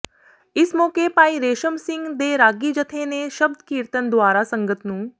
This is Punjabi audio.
ਇਸ ਮੌਕੇ ਭਾਈ ਰੇਸ਼ਮ ਸਿੰਘ ਦੇ ਰਾਗੀ ਜਥੇ ਨੇ ਸ਼ਬਦ ਕੀਰਤਨ ਦੁਆਰਾ ਸੰਗਤ ਨੂੰ